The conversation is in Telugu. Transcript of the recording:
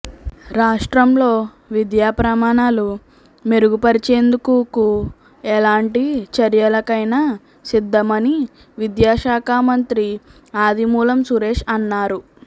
రాష్ట్రంలో విద్యాప్రమాణాలు మెరుగుపరిచేందుకుకు ఎలాంటి చర్యలకైనా సిద్ధమని విద్యాశాఖ మంత్రి ఆదిమూలం సురేష్ అన్నారు